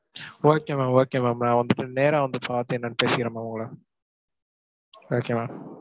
okay ma'am, okay ma'am நான் வந்துட்டு நேரா வந்து பார்த்து என்னன்னு பேசிக்கறேன் ma'am உங்களை okay ma'am.